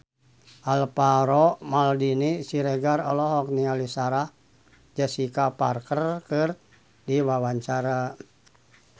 Alvaro Maldini Siregar olohok ningali Sarah Jessica Parker keur diwawancara